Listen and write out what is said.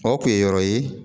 O kun ye yɔrɔ ye